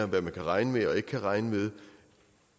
hvad man kan regne med og ikke kan regne med